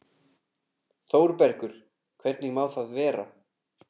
ÞÓRBERGUR: Hvernig má það vera?